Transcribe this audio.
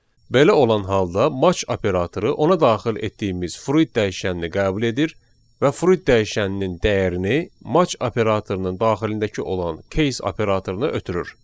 Belə olan halda match operatoru ona daxil etdiyimiz fruit dəyişənini qəbul edir və fruit dəyişəninin dəyərini match operatorunun daxilindəki olan case operatoruna ötürür.